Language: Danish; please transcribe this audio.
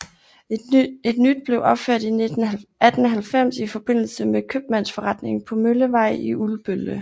Et nyt blev opført i 1890 i forbindelse med købmandsforretningen på Møllevej i Ulbølle